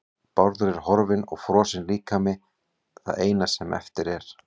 Bárður er horfinn og frosinn líkami það eina sem eftir er.